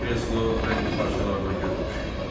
Taxta kreslo rəngli parçalarla göz oxşayırdı.